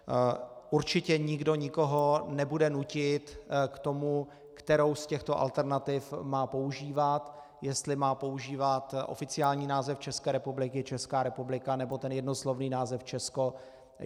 Určitě nikdo nikoho nebude nutit k tomu, kterou z těchto alternativ má používat, jestli má používat oficiální název České republiky Česká republika, nebo ten jednoslovný název Česko.